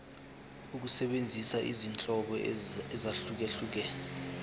ukusebenzisa izinhlobo ezahlukehlukene